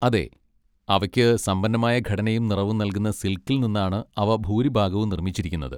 അതെ, അവയ്ക്ക് സമ്പന്നമായ ഘടനയും നിറവും നൽകുന്ന സിൽക്കിൽ നിന്നാണ് അവ ഭൂരിഭാഗവും നിർമ്മിച്ചിരിക്കുന്നത്.